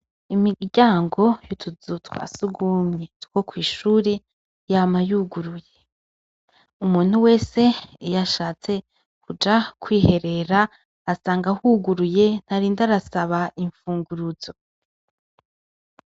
Imiryango y'utuzu twasugumwe yama yuguruye umuntu wese iy'ashatse kuja kwiherera asanga huguruye ntarinda arasaba imfunguruzo.